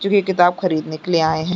जो कि ये किताब खरीदने के लिए आए है।